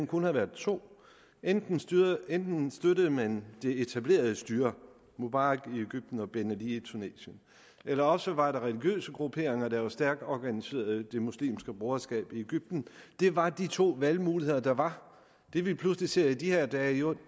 kun har været to enten støttede enten støttede man det etablerede styre mubarak i egypten og ben ali i tunesien eller også var der religiøse grupperinger der var stærkt organiserede som det muslimske broderskab i egypten det var de to valgmuligheder der var det vi pludselig ser i de her dage er jo